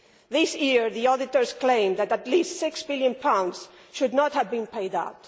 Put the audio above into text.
This year, the auditors claim that at least GBP 6 billion should not have been paid out.